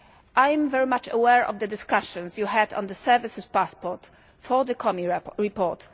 I am very much aware of the discussions you had on the services passport for the Comi report.